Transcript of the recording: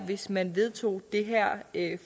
hvis man vedtog det her